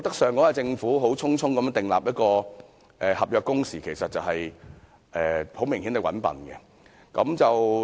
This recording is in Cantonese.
上屆政府匆匆訂立合約工時，我們認為這其實很明顯是"搵笨"。